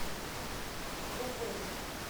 увэй